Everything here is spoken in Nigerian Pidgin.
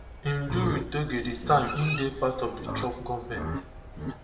im do wit doge di time im dey part of di trump goment